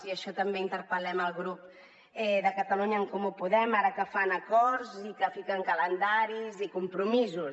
i amb això també interpel·lem el grup de catalunya en comú podem ara que fan acords i que fiquen calendaris i compromisos